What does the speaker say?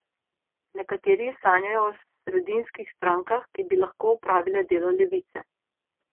Nekateri sanjajo o sredinskih strankah, ki bi lahko opravile delo levice.